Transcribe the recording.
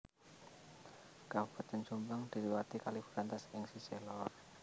Kabupatèn Jombang diliwati Kali Brantas ing sisih lor